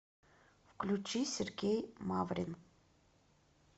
включи сергей маврин